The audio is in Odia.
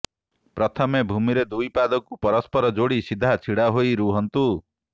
ପ୍ରଥମେ ଭୂମିରେ ଦୁଇ ପାଦକୁ ପରସ୍ପର ଯୋଡ଼ି ସିଧା ଛିଡ଼ା ହୋଇ ରୁହନ୍ତୁ